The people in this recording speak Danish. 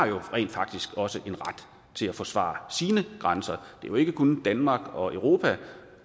jo rent faktisk også en ret til at forsvare sine grænser det er jo ikke kun danmark og europa